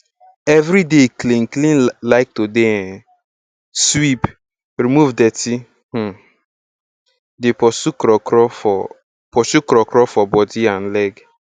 everyday clean clean like to dey um sweep remove dirty um dey pursue krokro for pursue krokro for body and leg